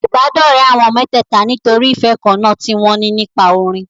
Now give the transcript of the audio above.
Ìbádọ́rẹ̀ẹ́ àwọn mẹ́tẹ̀ẹ̀ta nítorí ìfẹ́ kan náà tí wọn ní nípa orin.